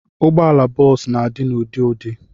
Ụgbọala bọs na-adi n'ụdị n'ụdị.